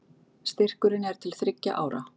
Styrkurinn er til þriggja ára